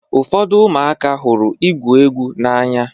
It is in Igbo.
Ụfọdụ ụmụaka hụrụ igwu egwu n'anya.